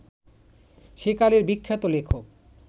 সেকালের বিখ্যাত লেখক